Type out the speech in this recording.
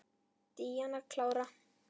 Díana klára.